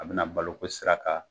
A bena balo ko sira kan